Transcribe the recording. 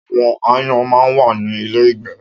Áwòn àáyán má n wá ni ilé ígbè